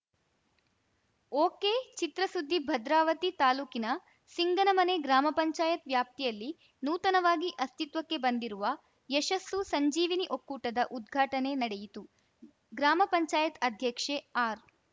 ಒಕೆಚಿತ್ರಸುದ್ದಿ ಭದ್ರಾವತಿ ತಾಲೂಕಿನ ಸಿಂಗನಮನೆ ಗ್ರಾಮ ಪಂಚಾಯತ್ ವ್ಯಾಪ್ತಿಯಲ್ಲಿ ನೂತನವಾಗಿ ಅಸ್ತಿತ್ವಕ್ಕೆ ಬಂದಿರುವ ಯಶಸ್ಸು ಸಂಜೀವಿನಿ ಒಕ್ಕೂಟದ ಉದ್ಘಾಟನೆ ನಡೆಯಿತು ಗ್ರಾಮ ಪಂಚಾಯತ್ ಅಧ್ಯಕ್ಷೆ ಆರ್‌